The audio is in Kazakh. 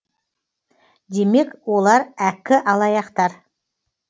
демек олар әккі алаяқтар